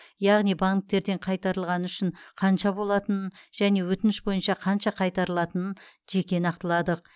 яғни банктерден қайтарылғаны үшін қанша болатынын және өтініш бойынша қанша қайтарылатынын жеке нақтыладық